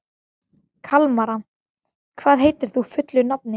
Kalmara, hvað heitir þú fullu nafni?